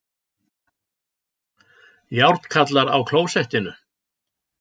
Járnkarlar á klósettinu